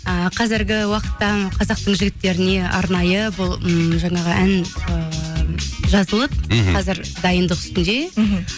ыыы қазіргі уақытта қазақтың жігіттеріне арнайы бұл ммм жаңағы ән ыыы жазылып мхм қазір дайындық үстінде мхм